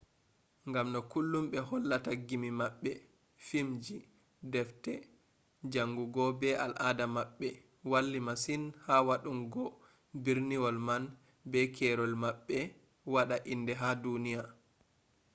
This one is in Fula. ngam no kullum ɓe hollata gimmi maɓɓe filmji deffte jaangugo be al'ada maɓɓe walli masin ha waɗɗungo berniwol man be keerol maɓɓe waɗa inde ha duniya